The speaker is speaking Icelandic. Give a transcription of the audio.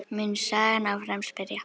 mun sagan áfram spyrja.